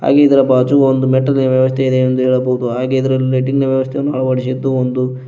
ಆಗಿ ಇದರ ಬಾಜು ಒಂದು ಮೆಟ್ಟಿಲಿನ ವ್ಯವಸ್ಥೆ ಇದೆ ಎಂದು ಹೇಳಬಹುದು ಹಾಗಿದ್ದರಲಿ ಲೈಟಿಂಗ್ ವ್ಯವಸ್ಥೆಯನ್ನು ಅಳವಡಿಸಿದ್ದು ಒಂದು--